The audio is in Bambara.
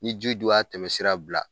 Ni ji dun y'a tɛmɛsira bila.